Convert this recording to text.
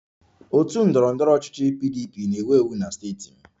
Otu ndọrọ ndọrọ ọchịchị PDP na-ewu ewu na steeti m